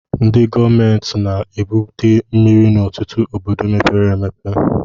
Ndị gọọmentị na-ebute mmiri n'ọtụtụ obodo mepere emepe